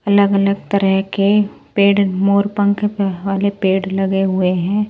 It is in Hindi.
अलग-अलग तरह के पेड़ मोर पंख वाले पेड़ लगे हुए हैं।